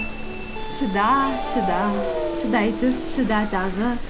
шыда шыда шыдай түс шыда тағы